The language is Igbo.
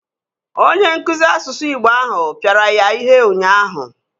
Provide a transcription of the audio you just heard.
Onye nkụzi asụsụ igbo ahụ pịara ya ihe ụnyaahụ